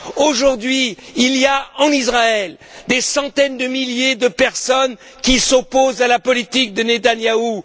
Aujourd'hui, il y a en Israël des centaines de milliers de personnes qui s'opposent à la poltitique de Netanyahu.